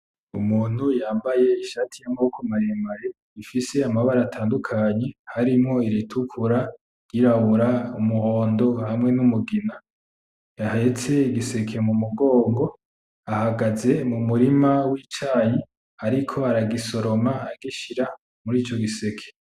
Umuntu yambaye ishati yamaboko maremare, ifise amabara atandukanye, harimwo iritukura ; iryirabura ; umuhondo hamwe numugina. Ahetse igiseke mumugongo. Ahagaze mumurima wicayi, ariko aragisoroma agishira murico giseke.